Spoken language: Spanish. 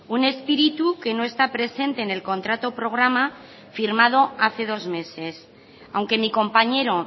un espíritu que no está presente en el contrato programa firmado hace dos meses aunque mi compañero